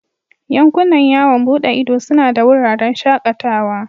Yankunan yawon bude ido suna da wuraren shakatawa.